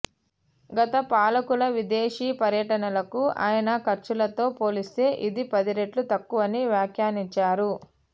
గత పాలకుల విదేశీ పర్యటనలకు అయిన ఖర్చులతో పోలిస్తే ఇది పది రెట్లు తక్కువని వ్యాఖ్యానించారు